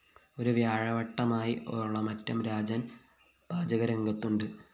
ഒരു വ്യാഴവട്ടമായി ഒളമറ്റം രാജന്‍ പാചകരംഗത്തുണ്ട്